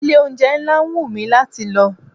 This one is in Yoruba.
Ilé-oúnjẹ ńlá wù mi láti lọ.